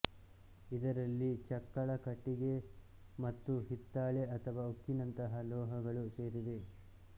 ಇದರಲ್ಲಿ ಚಕ್ಕಳ ಕಟ್ಟಿಗೆ ಮತ್ತು ಹಿತ್ತಾಳೆ ಅಥವಾ ಉಕ್ಕಿನಂತಹ ಲೋಹಗಳು ಸೇರಿವೆ